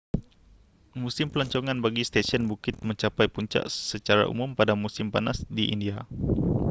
musim pelancongan bagi stesen bukit mencapai puncak secara umum pada musim panas di india